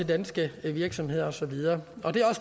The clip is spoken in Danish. danske virksomheder og så videre og det